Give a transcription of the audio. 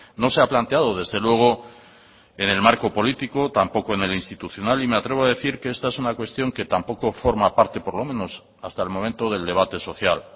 no se ha planteado desde luego en el marco político tampoco en el institucional y me atrevo a decir que esta es una cuestión que tampoco forma parte por lo menos hasta el momento del debate social